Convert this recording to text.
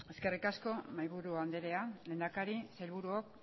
eskerrik asko mahaiaburu andrea lehendakari sailburuok